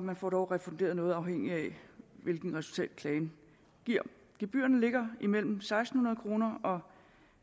man får dog refunderet noget afhængigt af hvilket resultat klagen giver gebyrerne ligger imellem seks hundrede kroner og